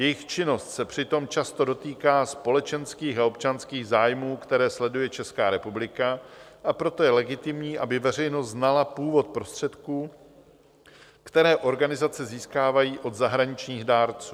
Jejich činnost se přitom často dotýká společenských a občanských zájmů, které sleduje Česká republika, a proto je legitimní, aby veřejnost znala původ prostředků, které organizace získávají od zahraničních dárců.